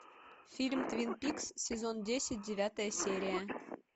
фильм твин пикс сезон десять девятая серия